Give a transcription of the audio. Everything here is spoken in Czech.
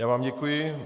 Já vám děkuji.